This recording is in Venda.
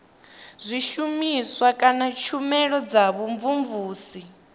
zwishumiswa kana tshumelo dza vhumvumvusi